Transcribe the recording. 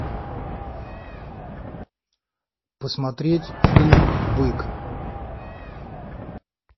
посмотреть фильм бык